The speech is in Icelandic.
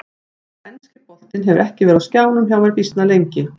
Þannig að enski boltinn hefur ekki verið á skjánum hjá mér býsna lengi.